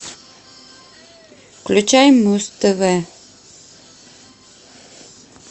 включай муз тв